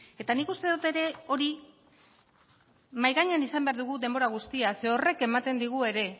eta nik uste dut ere hori mahai gainean izan behar dugu denbora guztian zeren horrek ematen digu ere